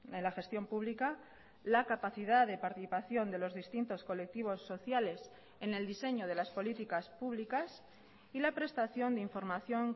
en la gestión pública la capacidad de participación de los distintos colectivos sociales en el diseño de las políticas públicas y la prestación de información